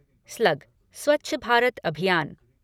slug Swachh Bharat Abhiyan